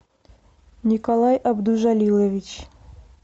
николай абдужалилович